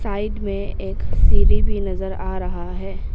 Side में एक सीढ़ी भी नजर आ रहा है।